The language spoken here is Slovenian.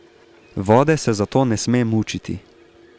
Vode se zato ne sme mučiti.